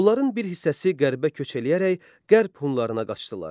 Onların bir hissəsi qərbə köç eləyərək qərb Hunlarına qaçdılar.